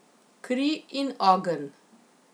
Kri in ogenj.